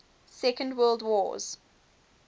second world wars